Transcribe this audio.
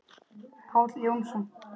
Páll Jónsson